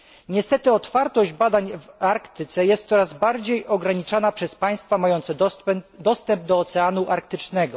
Niestety otwartość badań w Arktyce jest coraz bardziej ograniczana przez państwa mające dostęp do Oceanu Arktycznego.